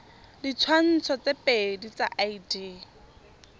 ditshwantsho tse pedi tsa id